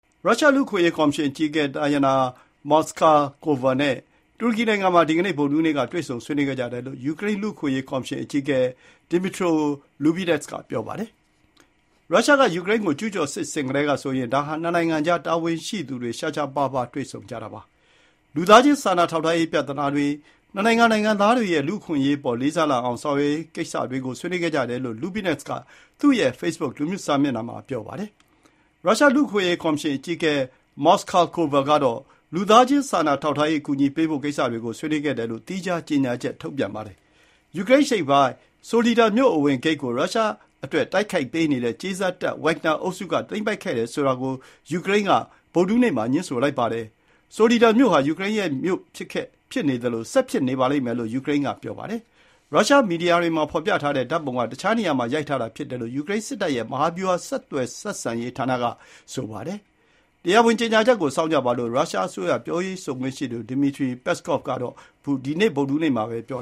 ရုရှား လူ့အခွင့်အရေး ကော်မရှင်အကြီးအကဲ တာယာနာ မော်စကာကိုဗာ နဲ့ တူရကီနိုင်ငံမှာ ဒီကနေ့ ဗုဒ္ဓဟူးနေ့ တွေ့ဆုံဆွေးနွေးခဲ့ကြတယ်လို့ ယူကရိန်း လူ့အခွင့်အရေးကော်မရှင် အကြီးအကဲ ဒီမီထရိုလူဘီနက်စ် က ပြောပါတယ်။ ရုရှားက ယူကရိန်းကို ကျူးကျော်စစ် ဆင်ခဲ့ကတည်းကဆိုရင် ဒါဟာ နှစ်နိုင်ငံကြား တာဝန်ရှိသူတွေ ရှားရှားပါးပါး တွေ့ဆုံကြတာပါ။ လူသားချင်းစာနာထောက်ထားရေး ပြဿနာတွေ၊ နှစ်နိုင်ငံ နိုင်ငံသားတွေရဲ့ လူ့အခွင့်အရေးအပေါ် လေးစားလာအောင် ဆောင်ရွက်ရေးကိစ္စတွေကို ဆွေးနွေးခဲ့ကြတယ်လို့ လူဘီနက်စ်က သူရဲ့ ဖေ့ဘွတ်ခ်လူမှုကွန်ရက်စာမျက်နှာမှာ ပြောပါတယ်။ ရုရှားလူ့အခွင့်အရေး ကော်မရှင်အကြီးအကဲ မော်စကာကိုဗာကတော့ လူသားချင်းစာနာထောက်ထားရေး အကူအညီပေးဖို့ ကိစ္စတွေကို ဆွေးနွေးခဲ့တယ်လို့ သီးခြားကြေညာချက်ထုတ်ပြန်ပါတယ်။ ယူကရိန်းအရှေ့ပိုင်း ဆိုလီဒါ မြို့ အဝင်ဂိတ်ကို ရုရှားအတွက်တိုက်ပေးနေတဲ့ ကြေးစားတပ် ဝက်ဂ်နာ အုပ်စုက သိမ်းပိုက်ခဲ့တယ်ဆိုတာ ကို ယူကရိန်းက ဗုဒ္ဓဟူးနေ့ မှာ ငြင်းဆိုလိုက်ပါတယ်။ ဆိုလီဒါမြို့ ဟာ ယူကရိန်းရဲ့ မြို့ ဖြစ်ခဲ့၊ ဖြစ်နေသလို၊ ဆက်ဖြစ်နေပါလိမ့်မယ်လို့ ယူကရိန်းက ဆိုပါတယ်။ ရုရှား မီဒီယာတွေမှာ ဖော်ပြထားတဲ့ ဓာတ်ပုံက တခြားတစ်နေရာမှာ ရိုက်ထားတာ ဖြစ်တယ်လို့ ယူကရိန်း စစ်တပ်ရဲ့ မဟာဗျူဟာဆက်သွယ်ဆက်ဆံရေးဌာနက ပြောပါတယ်။ တရားဝင်ကြေညာချက်ကို စောင့်ကြပါလို့ ရုရှားအစိုးရ ပြောရေးဆိုခွင့်ရှိသူ ဒီမစ်ထရီ ပက်စကော့်ဗ် က ဒီနေ့ ဗုဒ္ဓဟူးနေ့ မှာပဲ ပြော